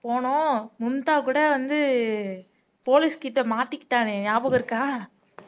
போனோம் மும்தா கூட வந்து போலீஸ் கிட்ட மாட்டிகிட்டானே ஞாபகம் இருக்கா